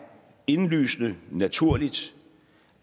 indlysende naturligt